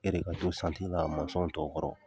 E de ka to in kan masɔn tɔ kɔrɔ.